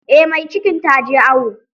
Eh mai cikin taje awo.